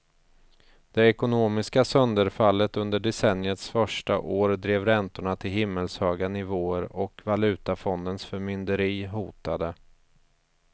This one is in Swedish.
Det ekonomiska sönderfallet under decenniets första år drev räntorna till himmelshöga nivåer och valutafondens förmynderi hotade.